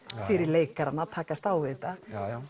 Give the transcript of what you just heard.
fyrir leikarana að takast á við þetta